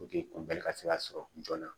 ka se ka sɔrɔ joona